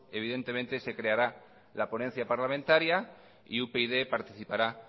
evidentemente se creará la ponencia parlamentaria y upyd participará